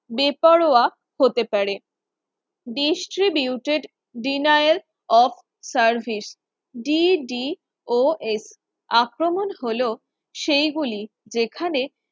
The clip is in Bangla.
বেপরোয়া হতে পারে distributed denial of service DDOS আক্রমণ হলো সেইগুলি যেখানে